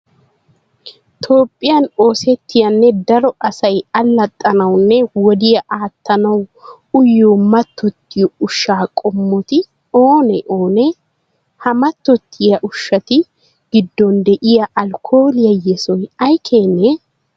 Toophphiyan oosettiyanne daro asay allaxxanawunne wodiya aattanawu uyiyo mattoyiya ushshaa qommoti oonee oonee? Ha mattoyiya ushshatu giddon de'iya alkkooliya yesoy ay keenee?